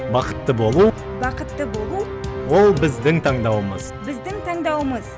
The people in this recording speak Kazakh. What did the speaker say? бақытты болу бақытты болу ол біздің таңдауымыз біздің таңдауымыз